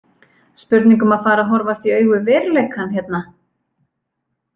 Spurning um að fara að horfast í augu við veruleikann, hérna!